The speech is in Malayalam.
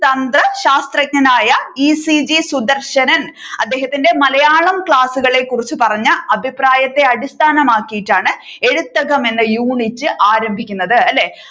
തന്ത്ര ശാസ്ത്രജ്ഞനായ ഈ. സി. ജി സുദർശനൻ അദ്ദേഹത്തിന്റെ മലയാളം ക്ലാസ്സുകളെ കുറിച്ച് പറഞ്ഞ അഭിപ്രായത്തെ അടിസ്ഥാനം ആക്കിയിട്ടാണ് എഴുതകം എന്ന യൂണിറ്റ് ആരംഭിക്കുന്നത് അല്ലെ